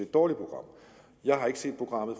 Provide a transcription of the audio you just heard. dårligt program jeg har ikke set programmet